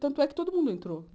Tanto é que todo mundo entrou.